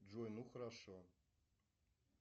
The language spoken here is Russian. джой ну хорошо